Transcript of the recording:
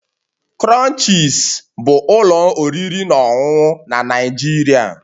Crunches bụ ụlọ oriri na ọṅụṅụ na Nigeria